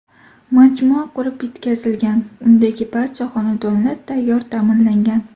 Majmua qurib bitkazilgan, undagi barcha xonadonlar tayyor ta’mirlangan.